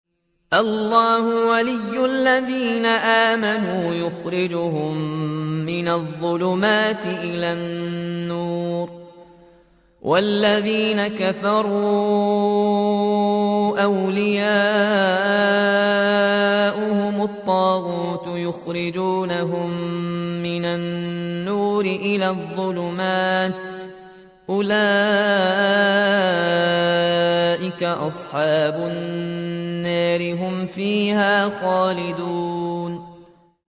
اللَّهُ وَلِيُّ الَّذِينَ آمَنُوا يُخْرِجُهُم مِّنَ الظُّلُمَاتِ إِلَى النُّورِ ۖ وَالَّذِينَ كَفَرُوا أَوْلِيَاؤُهُمُ الطَّاغُوتُ يُخْرِجُونَهُم مِّنَ النُّورِ إِلَى الظُّلُمَاتِ ۗ أُولَٰئِكَ أَصْحَابُ النَّارِ ۖ هُمْ فِيهَا خَالِدُونَ